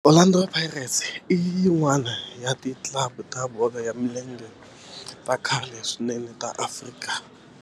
Orlando Pirates i yin'wana ya ti club ta bolo ya milenge ta khale swinene ta Afrika.